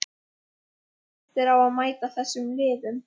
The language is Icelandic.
Hvernig líst þér á að mæta þessum liðum?